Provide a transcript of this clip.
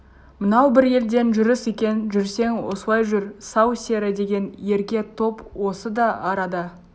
мынау бір елден жүріс екен жүрсең осылай жүр сал-сері деген ерке топ осы да арада